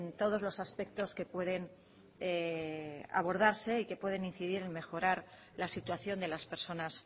todos los aspectos que pueden abordarse y que pueden incidir en mejorar la situación de las personas